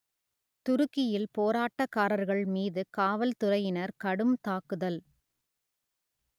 துருக்கியில் போராட்டக்காரர்கள் மீது காவல்துறையினர் கடும் தாக்குதல்